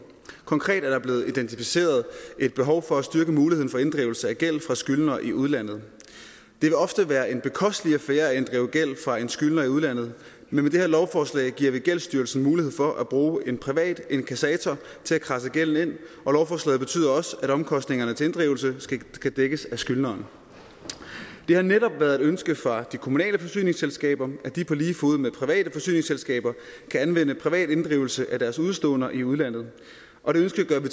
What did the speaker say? konkret er der blevet identificeret et behov for at styrke muligheden for inddrivelse af gæld fra skyldnere i udlandet det vil ofte være en bekostelig affære at inddrive gæld fra en skyldner i udlandet men med det her lovforslag giver vi gældsstyrelsen mulighed for at bruge en privat inkassator til at kradse gælden ind og lovforslaget betyder også at omkostningerne til inddrivelse skal dækkes af skyldneren det har netop været et ønske fra de kommunale forsyningsselskaber at de på lige fod med private forsyningsselskaber kan anvende privat inddrivelse af deres udeståender i udlandet og det ønske gør vi